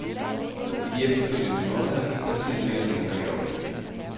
I de efterfølgende måneder gik partiet mere eller mindre i opløsning.